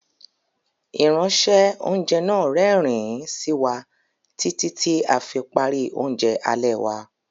Ìránṣẹ́- oúnjẹ náà rẹ́rìn-ín sí wa títí tí a fi parí oúnjẹ alẹ́ wa.